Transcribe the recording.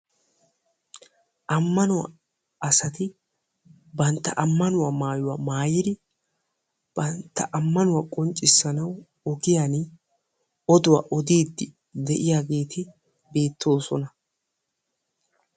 Amannuwa asatti bantta maayuwa maayiddia bantta amanuwa qonccissiya oduwa ogiyan odiyagetti beettosonna.